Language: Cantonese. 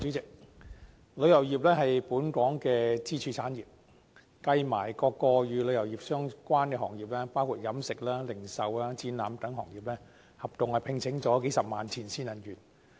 主席，旅遊業是本港的支柱產業，與旅遊業相關的各個行業，包括飲食、零售、展覽等行業，合共聘請數十萬名前線人員。